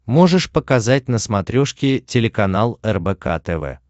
можешь показать на смотрешке телеканал рбк тв